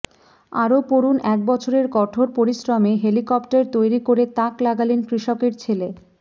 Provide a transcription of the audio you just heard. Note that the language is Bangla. আরও পড়ুন একবছরের কঠোর পরিশ্রমে হেলিকপ্টার তৈরি করে তাক লাগালেন কৃষকের ছেলে